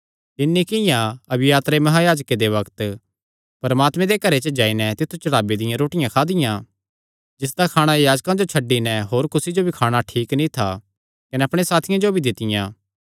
तिन्नी किंआं अबियातरे महायाजके दे बग्त परमात्मे दे घरे च जाई नैं तित्थु चढ़ावे दियां रोटियां खादियां जिसदा खाणा याजकां जो छड्डी नैं होर कुसी जो भी खाणा ठीक नीं था कने अपणे साथियां जो भी दित्तियां